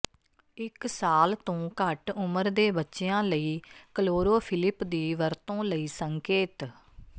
ਇੱਕ ਸਾਲ ਤੋਂ ਘੱਟ ਉਮਰ ਦੇ ਬੱਚਿਆਂ ਲਈ ਕਲੋਰੋਫਿਲਿਪ ਦੀ ਵਰਤੋਂ ਲਈ ਸੰਕੇਤ